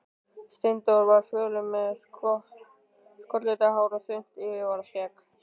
Steindór var fölur, með skollitað hár og þunnt yfirvararskegg.